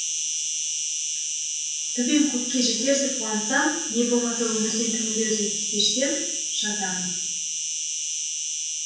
төбем көкке жетердей қуансам не болмаса өмірден түңілердей күй кешсем жазамын